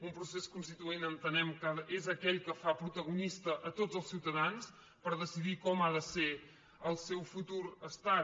un procés constituent entenem que és aquell que fa protagonista a tots els ciutadans per decidir com ha de ser el seu futur estat